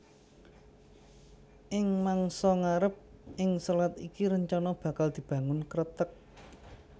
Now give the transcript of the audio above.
Ing mangsa ngarep ing selat iki rencanané bakal dibangun kreteg